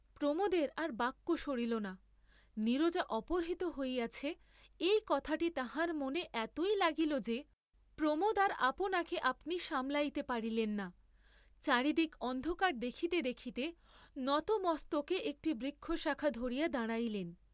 প্রমোদের আর বাক্য সরিল না, নীরজা অপহৃত হইয়াছে এই কথাটি তাঁহার মনে এতই লাগিল যে, প্রমোদ আর আপনাকে আপনি সামলাইতে পারিলেন না, চারিদিক অন্ধকার দেখিতে দেখিতে নত মস্তকে একটি বৃক্ষ শাখা ধরিয়া দাঁড়াইলেন।